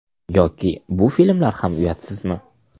Yoki bu filmlar ham uyatsizmi?